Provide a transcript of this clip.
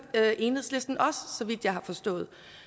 enhedslisten også så vidt jeg har forstået